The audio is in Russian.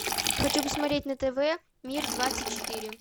хочу посмотреть на тв мир двадцать четыре